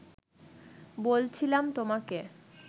বলছিলাম তোমাকে